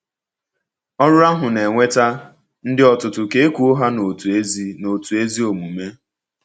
Ọrụ ahụ na-eweta “ndị ọtụtụ ka e kụọ ha n’otu ezi n’otu ezi omume.”